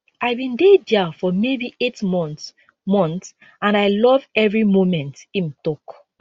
i bin dey dia for maybe eight months months and i love evri momentim tok